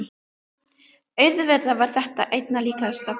Auðvitað var þetta einna líkast bilun.